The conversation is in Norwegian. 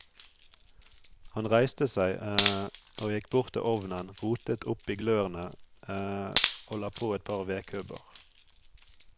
Han reiste seg og gikk bort til ovnen, rotet opp i glørne og la på et par vedkubber.